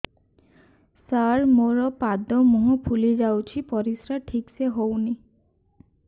ସାର ମୋରୋ ପାଦ ମୁହଁ ଫୁଲିଯାଉଛି ପରିଶ୍ରା ଠିକ ସେ ହଉନି